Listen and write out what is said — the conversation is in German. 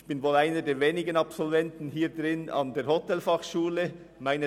Ich bin wohl einer der wenigen Absolventen der Hotelfachschule in diesem Raum.